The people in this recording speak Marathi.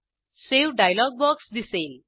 सावे डायलॉग बॉक्स दिसेल